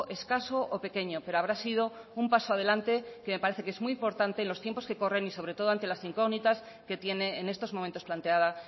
escaso o pequeño pero habrá sido un paso adelante que parece que es muy importante en los tiempos que corren y sobre todo ante las incógnitas que tiene en estos momentos planteada